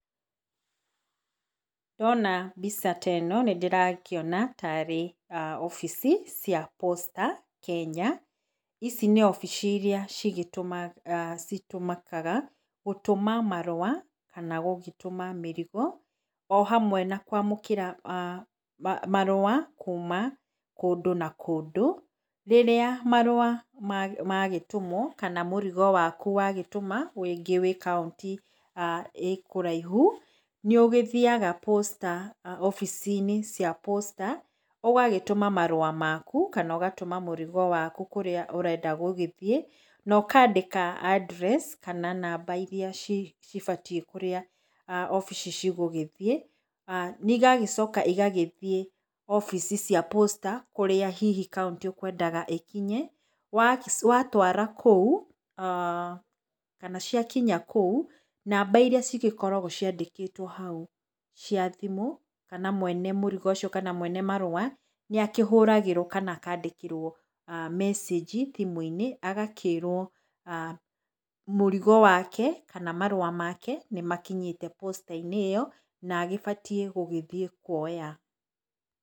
Ndona mbica ta ĩno nĩ ndĩrakĩona ta arĩ wabici cia Posta Kenya. Ici nĩ wabici iria citũmĩkaga gũtũma marũa kana gũgĩtũma mĩrigo o hamwe na kũamũkĩra marũa kuuma kũndũ na kũndũ. Rĩrĩa marũa magĩtũmwo kana mũrigo waku wagĩtũma rĩngĩ wĩ kauntĩ ĩĩ kũraihu, nĩ ũgĩthiaga Posta wabici-inĩ cia Posta ũgagĩtũma marũa maku kana ũgatũma mũrigo wakũ kũrĩa ũrenda gũgĩthiĩ na ũkaandĩka address kana namba irĩa cibatiĩ kũrĩa wabici cigũgĩthiĩ. Nĩ igagĩcoka igagĩthiĩ wabici cia Posta kũrĩa hihi kaũntĩ ũkwendaga ĩkinye. Watwara kũu kana ciakinya kũu namba irĩa cigĩkoragwo ciandĩkĩtwo hau cia thimũ, kana mwene mũrigo ũcio kana mwene marũa nĩakĩhũragĩrwo kana akaandĩkĩrwo message thimũ-inĩ, agakĩrwo mũrigo wake kana marũa make nĩ makinyĩte Posta-inĩ ĩyo na nĩ agĩbatiĩ gũthiĩ kuoya.